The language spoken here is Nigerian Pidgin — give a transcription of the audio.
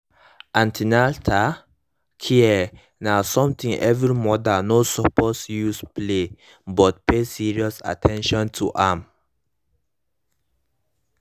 an ten atal care na sumtin every mother no suppose use play but pay serious at ten tion to am